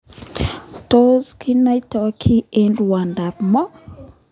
Tos kinoiton kii eng rwondo ab moo?